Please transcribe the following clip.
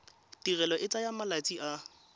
tirelo e tsaya malatsi a